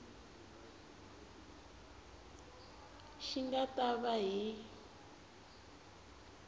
xi nga ta va hi